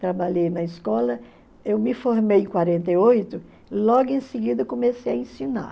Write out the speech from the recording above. Trabalhei na escola, eu me formei em quarenta e oito, logo em seguida comecei a ensinar.